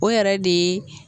O yɛrɛ de ye